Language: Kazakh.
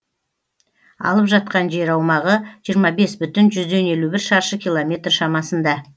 алып жатқан жер аумағы жиырма бес бүтін жүзден елу бір шаршы километр шамасында